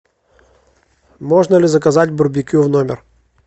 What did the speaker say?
можно ли заказать барбекю в номер